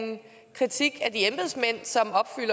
kritik